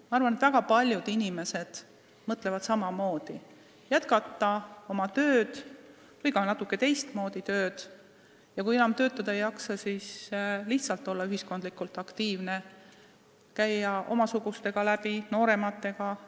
Ma arvan, et väga paljud inimesed mõtlevad samamoodi: nad soovivad jätkata oma tööd või teha ka natuke teistmoodi tööd ja kui enam töötada ei jaksa, siis nad soovivad lihtsalt olla ühiskondlikult aktiivne, käia läbi omasuguste ja noorematega.